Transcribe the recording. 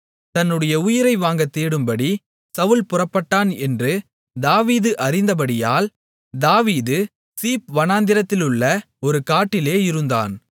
தன்னுடைய உயிரை வாங்கத் தேடும்படி சவுல் புறப்பட்டான் என்று தாவீது அறிந்தபடியால் தாவீது சீப் வனாந்திரத்திலுள்ள ஒரு காட்டிலே இருந்தான்